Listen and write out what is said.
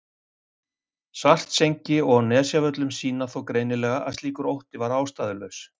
Svartsengi og á Nesjavöllum sýna þó greinilega að slíkur ótti var ástæðulaus.